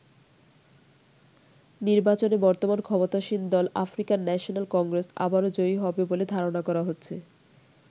নির্বাচনে বর্তমান ক্ষমতাসীন দল আফ্রিকান ন্যাশনাল কংগ্রেস আবারো জয়ী হবে বলে ধারনা করা হচ্ছে।